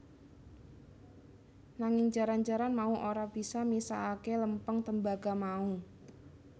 Nanging jaran jaran mau ora bisa misahake lempeng tembaga mau